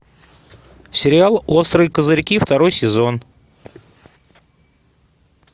сериал острые козырьки второй сезон